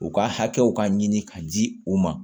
U ka hakɛw ka ɲini ka di u ma